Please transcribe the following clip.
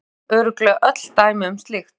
Við þekkjum örugglega öll dæmi um slíkt.